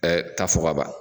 Ɛɛ taa fɔ kaban